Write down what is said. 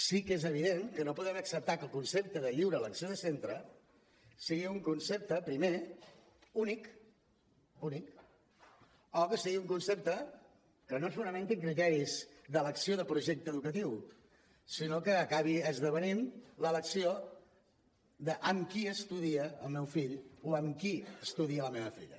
sí que és evident que no podem acceptar que el concepte de lliure elecció de centre sigui un concepte primer únic únic o que sigui un concepte que no es fonamenti en criteris d’elecció de projecte educatiu sinó que acabi esdevenint l’elecció d’ amb qui estudia el meu fill o amb qui estudia la meva filla